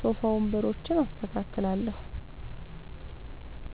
ሶፋ ወንበሮችን አስተካክላለሁ።